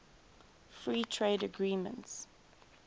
free trade agreements